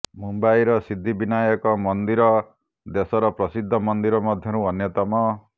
ମୁମ୍ବାଇର ସିଦ୍ଧି ବିନାୟକ ମନ୍ଦିର ଦେଶର ପ୍ରସିଦ୍ଧ ମନ୍ଦିର ମଧ୍ୟରୁ ଅନ୍ୟତମ